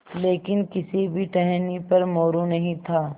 लेकिन किसी भी टहनी पर मोरू नहीं था